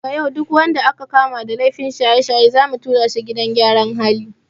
Daga yau duk wanda aka kama da laifin shaye-shaye zamu tura shi gidan gyaran hali.